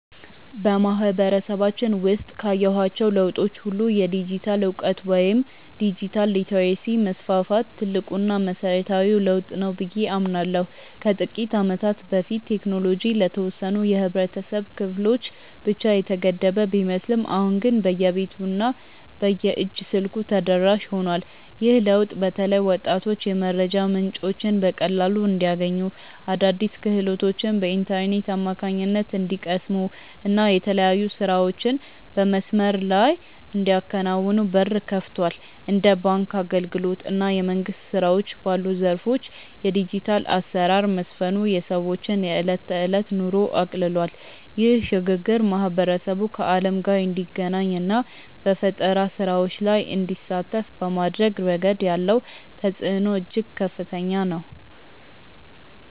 በማህበረሰባችን ውስጥ ካየኋቸው ለውጦች ሁሉ የዲጂታል እውቀት ወይም ዲጂታል ሊተረሲ መስፋፋት ትልቁና መሰረታዊው ለውጥ ነው ብዬ አምናለሁ። ከጥቂት ዓመታት በፊት ቴክኖሎጂ ለተወሰኑ የህብረተሰብ ክፍሎች ብቻ የተገደበ ቢመስልም አሁን ግን በየቤቱ እና በየእጅ ስልኩ ተደራሽ ሆኗል። ይህ ለውጥ በተለይ ወጣቶች የመረጃ ምንጮችን በቀላሉ እንዲያገኙ፣ አዳዲስ ክህሎቶችን በኢንተርኔት አማካኝነት እንዲቀስሙ እና የተለያዩ ስራዎችን በመስመር ላይ እንዲያከናውኑ በር ከፍቷል። እንደ ባንክ አገልግሎት እና የመንግስት ስራዎች ባሉ ዘርፎች የዲጂታል አሰራር መስፈኑ የሰዎችን የዕለት ተዕለት ኑሮ አቅልሏል። ይህ ሽግግር ማህበረሰቡ ከዓለም ጋር እንዲገናኝ እና በፈጠራ ስራዎች ላይ እንዲሳተፍ በማድረግ ረገድ ያለው ተጽዕኖ እጅግ ከፍተኛ ነው።